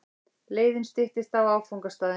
Leiðin styttist í áfangastaðinn.